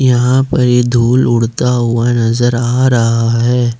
यहां पर ये धूल उड़ता हुआ नजर आ रहा है।